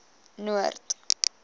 noord